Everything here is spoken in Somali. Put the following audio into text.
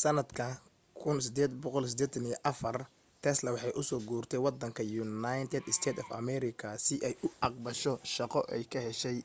sanadka 1884 tesla waxay u soo guurtay wadanka united states of america si ay u caqbasho shaqo ay ka heshay